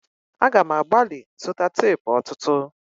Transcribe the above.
A ga m agbali zụta teepu ọtụtụ.